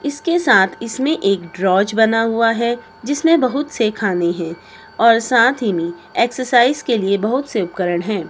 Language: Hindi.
इसके साथ इसमें एक ड्रॉज बना हुआ है जिसमें बहुत से खाने हैं और साथ ही में एक्सरसाइज के लिए बहुत से उपकरण हैं।